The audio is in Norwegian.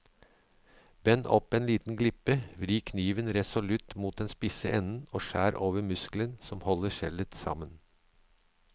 Bend opp en liten glipe, vri kniven resolutt mot den spisse enden og skjær over muskelen som holder skjellet sammen.